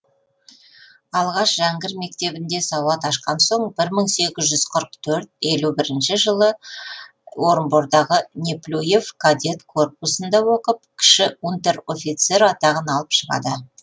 алғаш жәңгір мектебінде сауат ашқан соң бір мың сегіз жүз қырық төрт елу бірінші жылы орынбордағы неплюев кадет корпусында оқып кіші унтер офицер атағын алып шығады